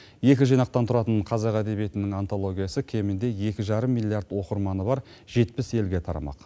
екі жинақтан тұратын қазақ әдебиетінің антологиясы кемінде екі жарым миллиард оқырманы бар жетпіс елге тарамақ